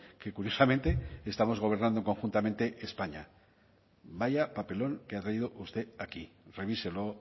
que curiosamente estamos gobernando conjuntamente españa vaya papelón que ha traído usted aquí revíselo